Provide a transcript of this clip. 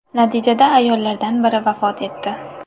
Natijada ayollardan biri vafot etdi.